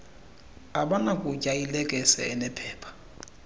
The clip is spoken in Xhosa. abanakutya ilekese enephepha